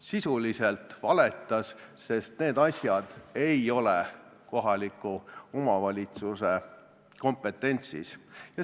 Sisuliselt valetas, sest need asjad ei ole kohaliku omavalitsuse kompetentsis!